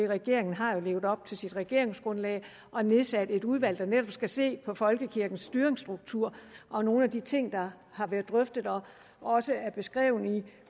regeringen har jo levet op til sit regeringsgrundlag og nedsat et udvalg der netop skal se på folkekirkens styringsstruktur og nogle af de ting der har været drøftet og også er beskrevet i